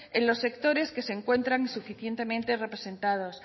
en los sectores que se encuentran insuficientemente representados